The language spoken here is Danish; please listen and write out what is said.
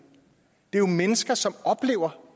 det er jo mennesker som oplever